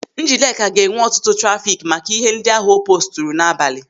Njideka ga-enwe ọtụtụ trafiki maka ihe ndị ahụ o poosturu n'abalị.